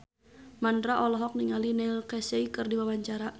Mandra olohok ningali Neil Casey keur diwawancara